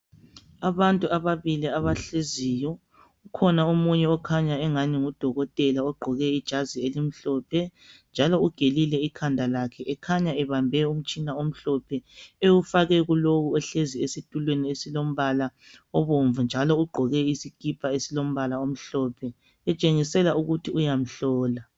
Abantu ababili abahleziyo kukhona omunye okhanya engani ngudokotela ogqoke ijazi elimhlophe njalo ugelile ikhanda lakhe , ekhanya ebambe umtshina omhlophe ewufake kulowo ohlezi esitulweni esilombala obomvu njalo ugqoke isikipa esilombala omhlophe kutshengisela ukuthi uyamhlola.